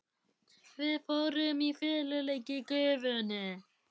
Við fórum í feluleik í gufunni.